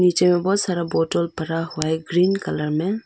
पीछे में बहुत सारा बोतल पड़ा हुआ है ग्रीन कलर में।